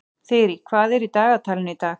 Þyrí, hvað er í dagatalinu í dag?